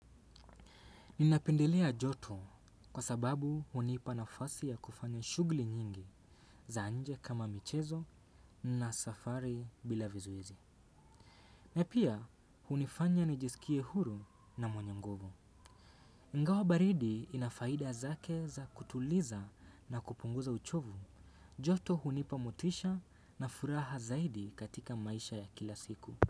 Ninapendelea joto kwa sababu hunipa nafasi ya kufanya shugli nyingi za nje kama michezo na safari bila vizuizi. Na pia hunifanya nijisikie huru na mwenye nguvu. Ingawa baridi inafaida zake za kutuliza na kupunguza uchovu. Joto hunipa motisha na furaha zaidi katika maisha ya kila siku.